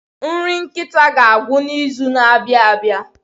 Nri nkịta ga-agwụ n'izu na-abịa abịa.